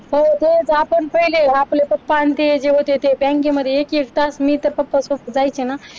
हो तेच आपण पहिले आपले पप्पा आणि होते ते मी तर एक एक तास बँकेमध्ये एक एक तास मी तर पप्पासोबत जायचे ना.